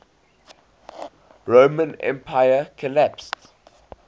roman empire collapsed